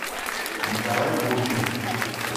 николай гуркин